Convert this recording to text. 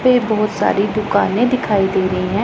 ये बहुत सारी दुकाने दिखाई दे रही है।